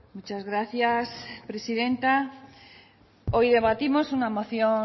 muchas gracias presidenta hoy debatimos una moción